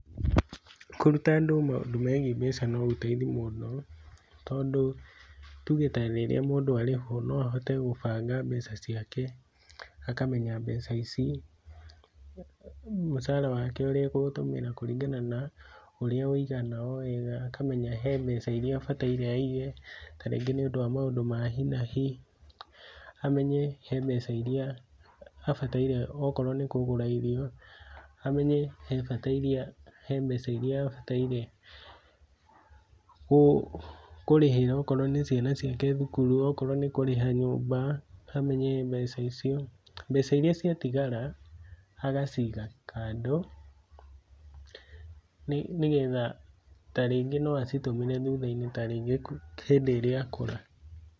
Kũruta andũ maũndũ megiĩ mbeca no gũteithie mũndũ tondũ, nĩ tuge ta rĩrĩa mũndũ arĩhwo no ahote gũbanga mbeca ciake, akamenya mbeca ici, mũcara wake ũrĩa ekũũtũmĩra kũringana na ũrĩa ũigana o wega, akamenya he mbeca iria abataire iage ta rĩngĩ nĩ ũndũ wa maũndũ ma hi nahi, amenye he mbeca iria abataire okorwo nĩ kũgũra irio, amenye he mbeca iria abataire kũrĩhĩra okorwo nĩ ciana ciake thukuru, okorwo nĩ kũrĩha nyũmba amenye mbeca icio. Mbeca iria cia tigara agaciga kando nĩ getha ta rĩngĩ no acitũmĩre thutha-inĩ ta rĩngĩ hĩndi ĩrĩa akũra.